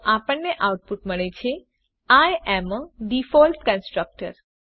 તો આપણને આઉટપુટ મળે છે I am a default constructor